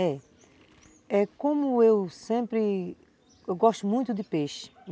É. É como eu sempre, eu gosto muito de peixe.